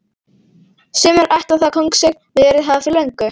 Sumir ætla það kóngseign verið hafa fyrir löngu.